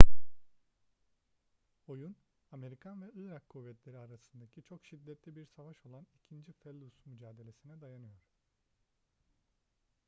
oyun amerikan ve irak kuvvetleri arasındaki çok şiddetli bir savaş olan i̇kinci felluce mücadelesi'ne dayanıyor